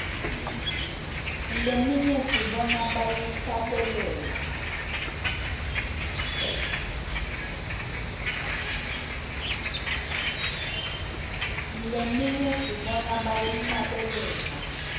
leminye sibona bayihlabelela